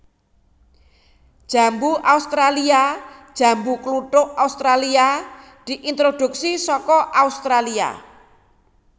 Jambu australia Jambu kluthuk Australia diintroduksi saka Australia